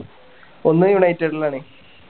ഒന്ന് united ലാണ്